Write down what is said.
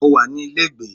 Mo wà ní ilé ìgbé.